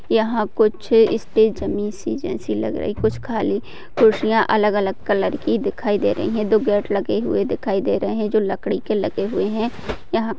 यहा कुछ स्टेज जमी सी जेसी लग रही कुछ खाली कुर्सीया अलग अलग कलर की दिखाई दे रही है। दो गेट लगे हुवे दिखाई दे रहे है। जो लकड़ी के लगे हुवे है। यहा --